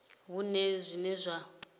a hu na zwine zwa